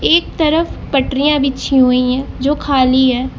एक तरफ पटरिया बिछी हुई है जो खाली है।